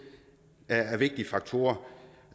er en vigtig faktor og